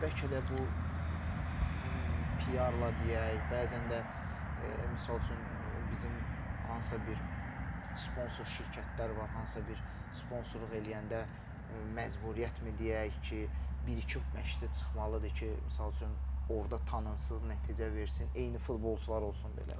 Bəlkə də bu PR-la deyək, bəzən də misal üçün bizim hansısa bir sponsor şirkətlər var, hansısa bir sponsorluq eləyəndə məcburiyyətmi deyək ki, bir-iki məşçi çıxmalıdır ki, misal üçün orda tanınsın, nəticə versin, eyni futbolçular olsun belə.